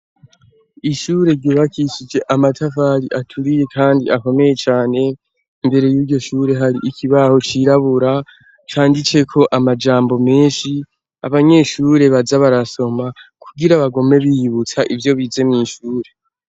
ishure ryubakishije amatafari aturiye kandi akomeye cane imbere y'iryo shuri hari ikibaho cirabura canditseko amajambo menshi abanyeshure baja barasoma kugira bagume biyibutsa ivyo bize mwishure